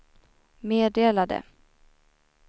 meddelade